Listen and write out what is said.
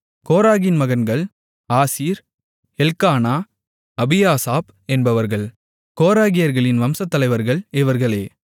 கோராகின் மகன்கள் ஆசீர் எல்க்கானா அபியாசாப் என்பவர்கள் கோராகியர்களின் வம்சத்தலைவர்கள் இவர்களே